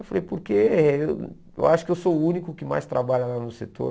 Eu falei, porque eu acho que eu sou o único que mais trabalha lá no setor.